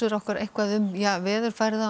okkur eitthvað um veðurfar